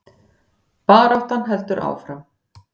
Baráttan heldur áfram